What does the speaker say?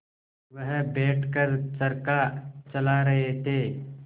वह बैठ कर चरखा चला रहे थे